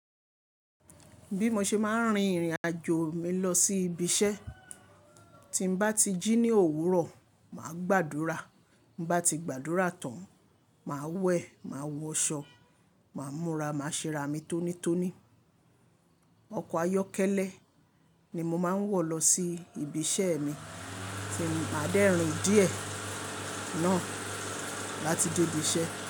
Bí mo ṣe máa ń rin ìrìn àjò mi lọ sí ibi iṣẹ́. Tí n bá ti jí ní òwúrọ̀, màá gbàdúrà. Mo bá ti gbàdúrà tán, màá wẹ̀, màá wọṣọ, màá múra, màá ṣera mi tónítóní. Ọkọ̀ ayọ́kẹ́lẹ́ ni mo máa ń wọ̀ lọ sí ibi iṣẹ́ mi, tí màá dẹ́rìn díẹ̀ náà láti dé ibi iṣẹ́